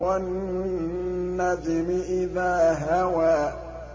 وَالنَّجْمِ إِذَا هَوَىٰ